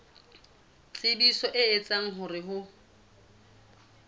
tshebetso e etsang hore ho